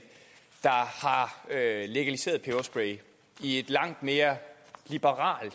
der har legaliseret peberspray i et langt mere liberalt